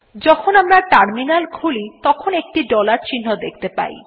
যখন আমরা টার্মিনাল খুলি তখন একটি ডলার চিহ্ন দেখতে পাই